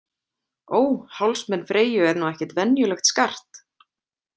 Ó, hálsmen Freyju er nú ekkert venjulegt skart